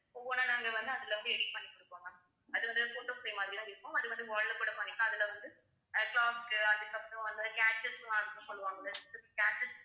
ஒவ்வொண்ணா நாங்க வந்து அதுல வந்து edit பண்ணி குடுப்போம் ma'am அது வந்து photo frame மாதிரி தான் இருக்கும் அது வந்து wall ல கூட பண்ணிக்கலாம் அதுல வந்து clock க்கு அதுக்கப்புறம் அந்த சொல்லுவங்கள